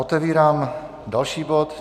Otevírám další bod.